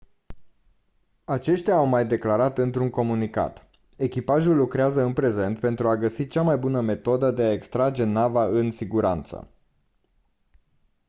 aceștia au mai declarat într-un comunicat: «echipajul lucrează în prezent pentru a găsi cea mai bună metodă de a extrage nava în siguranță».